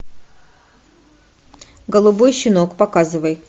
голубой щенок показывай